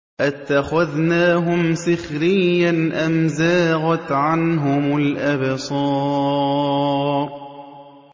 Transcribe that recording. أَتَّخَذْنَاهُمْ سِخْرِيًّا أَمْ زَاغَتْ عَنْهُمُ الْأَبْصَارُ